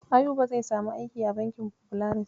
Ayuba zai samu aiki a bankin Folaris.